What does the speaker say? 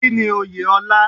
Kínni Oyè ọlá?